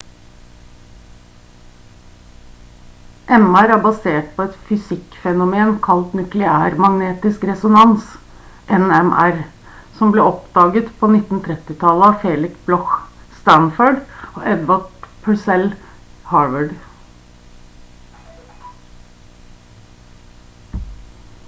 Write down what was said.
mr er basert på et fysikk-fenomen kalt nukleærmagnetisk resonans nmr som ble oppdaget på 1930-tallet av felix bloch stanford og edvard purcell harvard